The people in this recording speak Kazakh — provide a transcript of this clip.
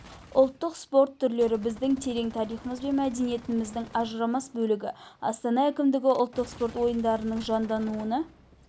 ұлттық спорт түрлері біздің терең тарихымыз бен мәдениетіміздің ажырамас бөлігі астана әкімдігі ұлттық спорт ойындарының жандануына